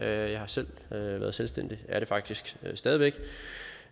jeg har selv været selvstændig er det faktisk stadig væk